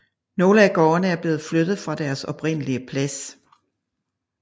Nogle af gårdene er blevet flyttet fra deres oprindelig plads